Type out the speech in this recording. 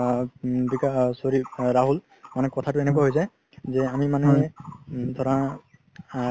আ কি কয় sorry ৰহুল মানে কথাতো এনেকুৱা হয় যাই যে আমি মানে ধৰা আ